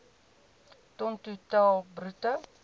ton totaal bruto